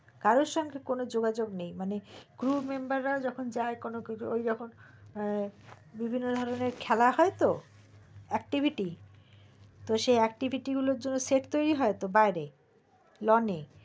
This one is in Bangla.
কারো সঙ্গে কারো যোগাযোগ নেই একেবারে মানে group member যখন যাই কোনো কিছুওই যখন বিভিন্ন ধরণের খেলা হয় তো activity তো সে activity গুলোর জন্য set তৈরী হয় তো বাইরে lone এর